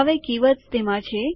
હવે કીવર્ડસ તેમાં છે